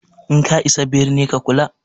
In ka isa birni ka kula!